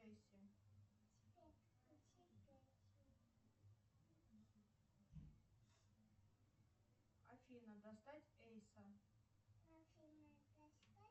афина достать эйса